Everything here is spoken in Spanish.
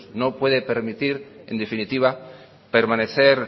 no puede permitir en definitiva permanecer